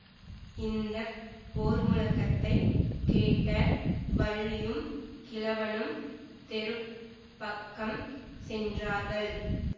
இந்த போர்முழக்கத்தைக் கேட்ட வள்ளியும் கிழவனும் தெரு பக்கம் சென்றார்கள்